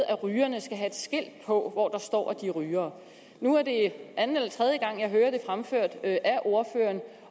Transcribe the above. at rygerne skal have et skilt på hvor der står at de er rygere nu er det anden eller tredje gang jeg hører det fremført af ordføreren